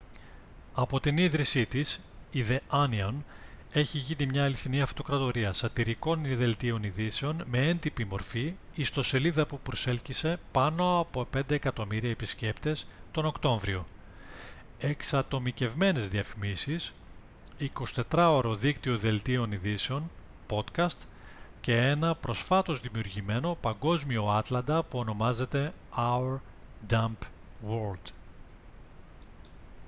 από την ίδρυσή της η the onion έχει γίνει μια αληθινή αυτοκρατορία σατιρικών δελτίων ειδήσεων με έντυπη μορφή ιστοσελίδα που προσέλκυσε πάνω από 5.000.000 επισκέπτες τον οκτώβριο εξατομικευμένες διαφημίσεις 24ωρο δίκτυο δελτίων ειδήσεων podcast και ένα προσφάτως δημιουργημένο παγκόσμιο άτλαντα που ονομάζεται «our dumb world»